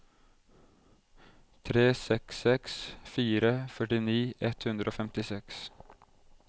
tre seks seks fire førtini ett hundre og femtiseks